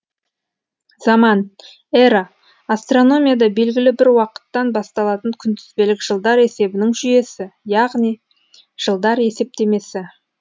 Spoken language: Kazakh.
заман эра астрономияда белгілі бір уақыттан басталатын күнтізбелік жылдар есебінің жүйесі яғни жылдар есептемесі